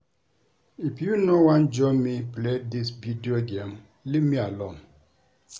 If you no wan join me play dis video game leave me alone